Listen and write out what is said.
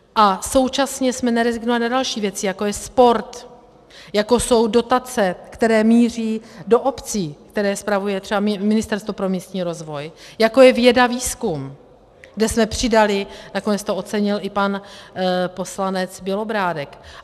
A současně jsme nerezignovali na další věci, jako je sport, jako jsou dotace, které míří do obcí, které spravuje třeba Ministerstvo pro místní rozvoj, jako je věda, výzkum, kde jsme přidali - nakonec to ocenil i pan poslanec Bělobrádek.